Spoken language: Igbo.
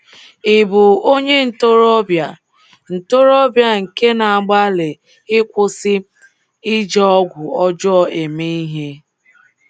Ị bụ onye ntorobịa ntorobịa nke na-agbalị ịkwụsị iji ọgwụ ọjọọ eme ihe?